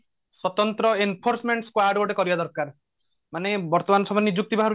ସ୍ଵତନ୍ତ୍ର enforcement squad ଗୋଟେ କରିବା ଦରକାର ମାନେ ବର୍ତମାନ ସମୟରେ ନିଯୁକ୍ତି ବାହାରୁଛି